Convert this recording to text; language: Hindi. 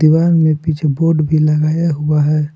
दिवाल में पीछे बोर्ड भी लगाया हुआ है।